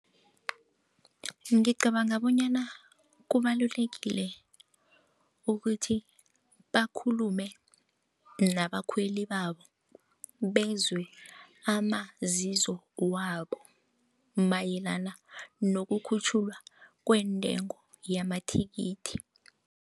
Ngicabanga bonyana kubalulekile ukuthi bakhulume nabakhweli babo bezwe amazizo wabo mayelana nokukhutjhulwa kwentengo yamathikithi.